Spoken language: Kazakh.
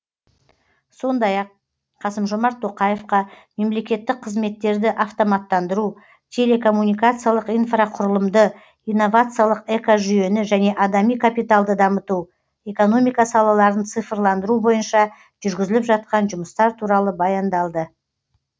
сондай ақ қасым жомарт тоқаевқа мемлекеттік қызметтерді автоматтандыру телекоммуникациялық инфрақұрылымды инновациялық экожүйені және адами капиталды дамыту экономика салаларын цифрландыру бойынша жүргізіліп жатқан жұмыстар туралы баяндалды